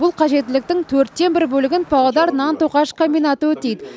бұл қажеттіліктің төрттен бір бөлігін павлодар нан тоқаш комбинаты өтейді